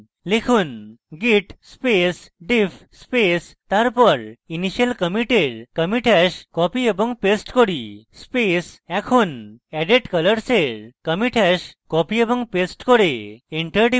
লিখুন git space diff space তারপর initial commit এর commit hash copy এবং paste করি space এখন added colors এর commit hash copy এবং paste করে এন্টার টিপুন